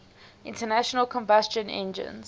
internal combustion engines